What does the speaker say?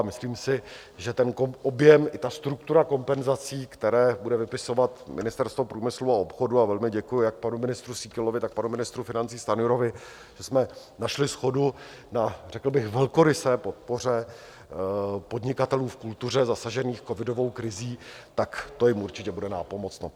A myslím si, že ten objem i ta struktura kompenzací, které bude vypisovat Ministerstvo průmyslu a obchodu, a velmi děkuji jak panu ministru Síkelovi, tak panu ministru financí Stanjurovi, že jsme našli shodu na řekl bych velkorysé podpoře podnikatelů v kultuře zasažených covidovou krizí, tak to jim určitě bude nápomocno.